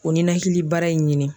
O ninakili baara in ɲini.